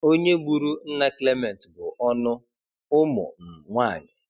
Onye gburu nna Clement bụ ọnụ - ụmụ um nwanyị